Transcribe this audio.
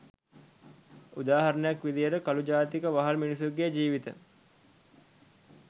උදාහරණයක් විදිහට කළු ජාතික වහල් මිනිසුන්ගේ ජීවිත